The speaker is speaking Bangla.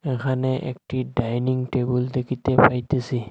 এখানে একটি ডাইনিং টেবিল দেখিতে পাইতেসি।